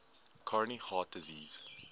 coronary heart disease